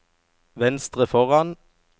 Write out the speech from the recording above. venstre foran